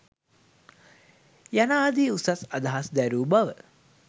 යනාදී උසස් අදහස් දැරූ බව